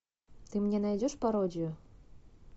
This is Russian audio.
ты мне найдешь пародию